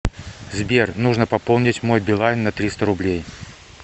сбер нужно пополнить мой билайн на триста рублей